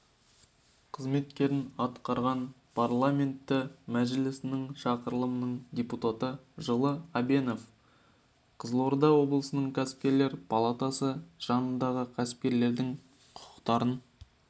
қызметтерін атқарған парламенті мәжілісінің шақырылымының депутаты жылы әбенов қызылорда облысының кәсіпкерлер палатасы жанындағы кәсіпкерлердің құқықтарын